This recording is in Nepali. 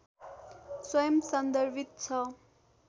स्वयम् सन्दर्भित छ